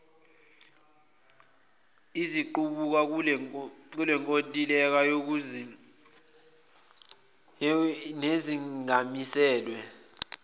eziqubuka kulenkontileka nezingamiselwe